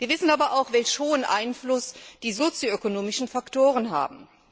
Wir wissen aber auch, welch großen Einfluss die sozioökonomischen Faktoren haben.